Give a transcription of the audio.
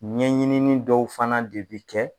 Ɲɛɲinini dɔw fana de bi kɛ.